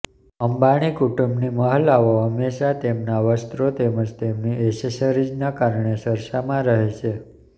અંબાણી કુટુંબની મહિલાઓ હંમેશા તેમના વસ્ત્રો તેમજ તેમની એસેસરીઝના કારણે ચર્ચામાં રહે છે